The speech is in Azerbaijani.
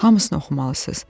Hamısını oxumalısınız.